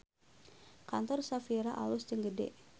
Kantor Shafira alus jeung gede